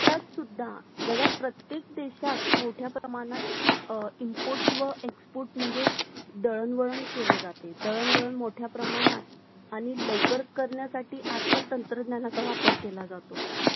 आणि लवकर करण्यासाठी आजकाल तंत्रज्ञानाचा वापर केला जातो